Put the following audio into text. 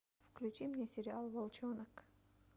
включи мне сериал волчонок